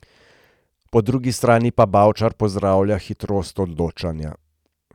Po drugi strani pa Bavčar pozdravlja hitrost odločanja.